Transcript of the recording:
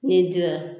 N'i diya